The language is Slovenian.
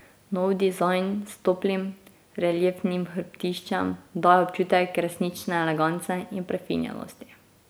Nov dizajn s toplim, reliefnim hrbtiščem daje občutek resnične elegance in prefinjenosti.